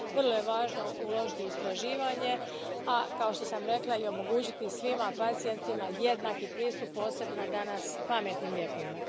Vrlo je važno uložiti u istraživanje, a, kao što sam rekla, i omogućiti svim pacijentima jednaki pristup, posebno danas pametnim lijekovima.